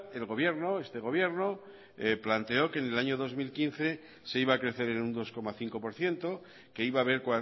el gobierno este gobierno planteó que en el año dos mil quince se iba a crecer en un dos coma cinco por ciento que iba haber